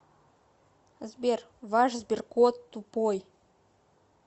сбер ваш сберкот тупой